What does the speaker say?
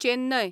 Chennai